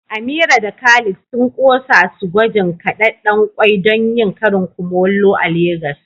Amira da Khalid sun kosa su gwajin kadedden kwai don yin karin kumallo a Legas.